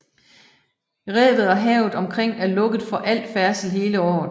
Revet og havet omkring er lukket for al færdsel hele året